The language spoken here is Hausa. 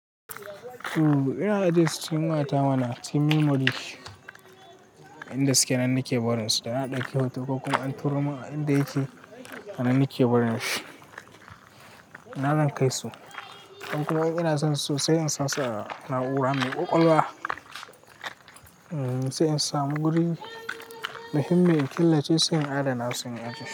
Ina ajiye su, cikin wayata mana. Cikin memory inda suke nan nake barin su, da na dauki hoto ko kuma an tura min a inda yake. Nan nake barin su, na zan kai su. In kuma ina son su, so sai ina sa su a na'ura mai ƙwaƙwalwa sai in samu guri muhimmi in killace su sai in adana su in ajiye.